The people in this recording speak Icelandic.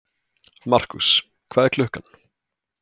Markús, hvað er klukkan?